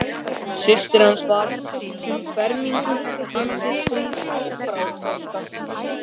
Systir hans var um fermingu, andlitsfríð og bráðþroska.